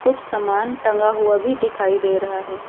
कुछ सामान टंगा हुआ भी दिखाई दे रहा है।